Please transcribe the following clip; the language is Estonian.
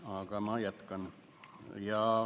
Aga ma jätkan.